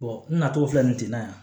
n natɔ filɛ nin ten na yan